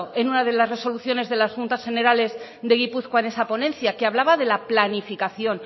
en una de las resoluciones de las juntas generales de gipuzkoa en esa ponencia que hablaba de la planificación